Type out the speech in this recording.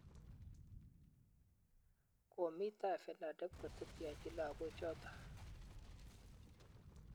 Komii tai FENADEB koteteanchi lagoochoto